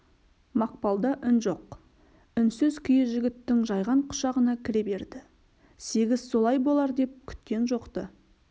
мақпалда үн жоқ үнсіз күйі жігіттің жайған құшағына кіре берді сегіз солай болар деп күткен жоқ-ты